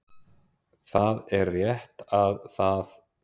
Það er rétt að það